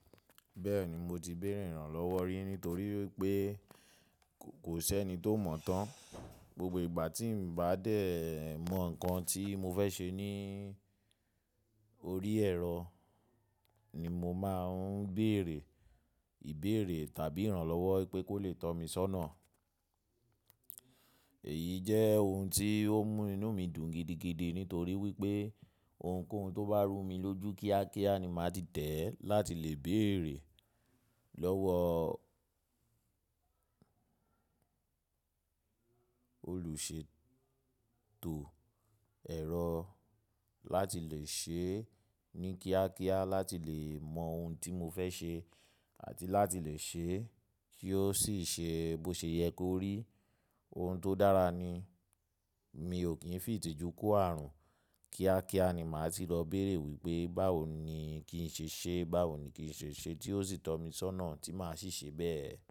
Bẹ́ẹ̀ni mo ti béèrè ìrànlọ́wọ́ rí nítorí wípé kò ṣẹ́ni tó mọ̀ tán. Gbogbo ìgbà tí mo bá dẹ̀ mọ nǹkan tí mo fẹ́ ṣe ní orí ẹ̀rọ ni mo máa ń béèrè ìbéèrè tàbí ìrànlọ́wọ́ pé kó lè tọ́ mi sọ́nà. Èyí jẹ́ ohun tí ó ń mú inú mi dùn gidigidi nítorí wípé ohunkóhun tó bá rú mi lójú kíákíá ni màá ti tẹ̀ ẹ́ láti lè béèrè lọ́wọ́ olùṣètò ẹ̀rọ láti lè ṣe é ní kíákíá, láti lè mọ ohun tí mo fẹ́ ṣe àti láti lè ṣe é kí ó sì ṣe bó ṣe yẹ kó rí. Ohun tó dára ni mi ò kí ń fi ìtìjú kó ààrùn. Kíákíá ni màá ti lọ béèrè wípé báwo ni kí n ṣe ṣe é, báwo ni kí n ṣe ṣe é tí ó sì tọ́ mi sọ́nà tí màá sì ṣe bẹ́ẹ̀.